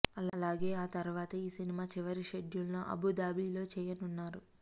అలాగే ఆ తరువాత ఈ సినిమా చివరి షెడ్యూల్ ను అబూ ధాబీలో చేయనున్నారు